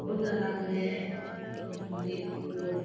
पौधा लाग रेया है और एक और --